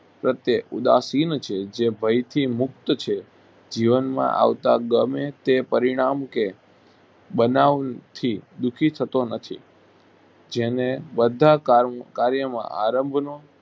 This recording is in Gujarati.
પ્રત્યે ઉદાસીન છે જે ભયથી મુકત છે જીવનમાં આવતા ગમે તે પરિણામ કે બનાવથી દુખી થતો નથી જેને બધા કાર કાર્યમાં આરંભનો